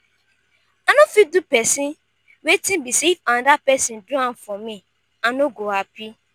i no fit do pesin wetin be say if anoda pesin do am for me i no go happy.